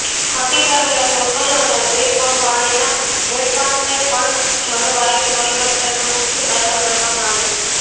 ઘટી રહેલા જંગલો અને બેફામ પાણીના વેડફાટને પણ જળવાયુ પરિવર્તનનું મુખ્ય કારણ ગણવામાં આવે છે